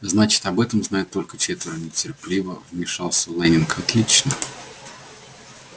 значит об этом знают только четверо нетерпеливо вмешался лэннинг отлично